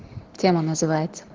тема называется